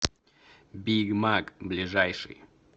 бигмаг ближайший